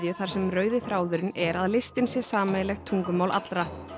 þar sem rauði þráðurinn er að listin sé sameiginlegt tungumál allra